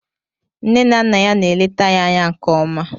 Nne na Nna ya na-eleta ya anya nke ọma